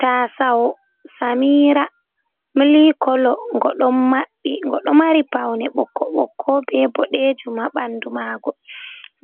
"Taaso samira" milik kolo go ɗo mabɓi go ɗo mari paune ɓokko ɓokko be bodejum. Ha ɓandu ma go